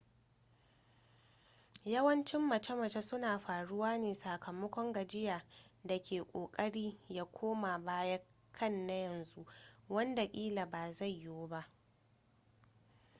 yawancin mace-mace suna faruwa ne sakamakon gajiya da ke ƙoƙari ya koma baya kan na yanzu wanda ƙila ba zai yiwu ba